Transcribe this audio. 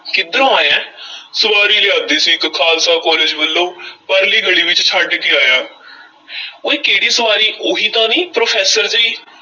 ਕਿੱਧਰੋਂ ਆਇਐਂ ਸਵਾਰੀ ਲਿਆਂਦੀ ਸੀ ਇੱਕ ਖ਼ਾਲਸਾ college ਵੱਲੋਂ ਪਰਲੀ ਗਲੀ ਵਿੱਚ ਛੱਡ ਕੇ ਆਇਆਂ ਉਏ ਕਿਹੜੀ ਸਵਾਰੀ, ਉਹੀ ਤਾਂ ਨਹੀਂ ਪ੍ਰੋਫ਼ੈਸਰ ਦੀ।